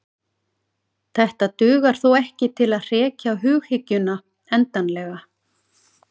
Þetta dugar þó ekki til að hrekja hughyggjuna endanlega.